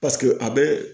paseke a be